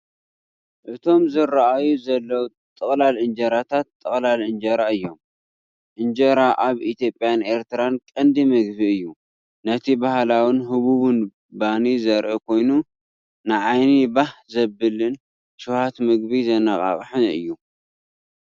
እቶም ዝርኣዩ ዘለዉ ጥቕላል እንጀራታት ጥቕላል እንጀራ እዮም። እንጀራ ኣብ ኢትዮጵያን ኤርትራን ቀንዲ ምግቢ እዩ። ነቲ ባህላውን ህቡብን ባኒ ዘርኢ ኮይኑ፡ ንዓይኒ ባህ ዘብልን ሸውሃት ምግቢ ዘነቓቕሕን እዩ።